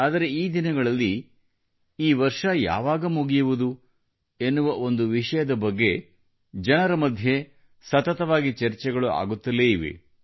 ಆದರೆ ಈ ದಿನಗಳಲ್ಲಿ ಈ ವರ್ಷ ಯಾವಾಗ ಮುಗಿಯುವುದು ಎನ್ನುವ ಒಂದು ವಿಷಯದ ಬಗ್ಗೆ ಜನರ ಮಧ್ಯೆ ಸತತವಾಗಿ ಚರ್ಚೆಗಳು ಆಗುತ್ತಲೇ ಇವೆ